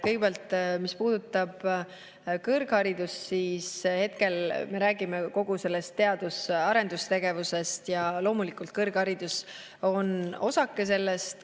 Kõigepealt, mis puudutab kõrgharidust, siis hetkel me räägime kogu teadus- ja arendustegevusest ja loomulikult kõrgharidus on osake sellest.